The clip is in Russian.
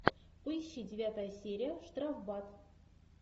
поищи девятая серия штрафбат